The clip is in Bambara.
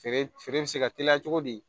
Feere feere bɛ se ka teliya cogo di